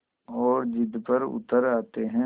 और ज़िद पर उतर आते हैं